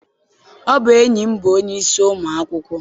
Ọ bụ enyi m bụ onye isi ụmụ akwụkwọ.